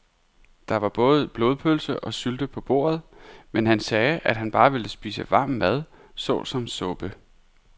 Der var både blodpølse og sylte på bordet, men han sagde, at han bare ville spise varm mad såsom suppe.